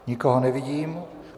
Nikoho nevidím.